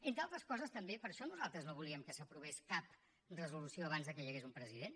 entre altres coses també per això nosaltres no volíem que s’aprovés cap resolució abans que hi hagués un president